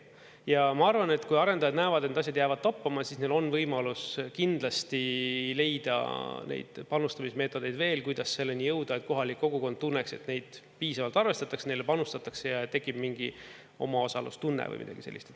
Ja ma arvan, et kui arendajad näevad, et need asjad jäävad toppama, siis neil on võimalus kindlasti leida neid panustamismeetodeid veel, kuidas selleni jõuda, et kohalik kogukond tunneks, et neid piisavalt arvestatakse, neile panustatakse ja tekib mingi omaosalustunne või midagi sellist.